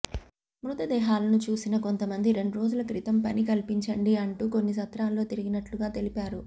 మృతదేహాలను చూసిన కొంతమంది రెండ్రోజుల క్రితం పని కల్పించండి అంటూ కొన్ని సత్రాల్లో తిరిగినట్లుగా తెలిపారు